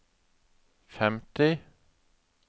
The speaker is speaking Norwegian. femti